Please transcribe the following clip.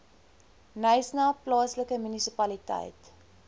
knysna plaaslike munisipaliteit